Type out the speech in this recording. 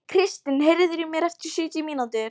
Kristin, heyrðu í mér eftir sjötíu mínútur.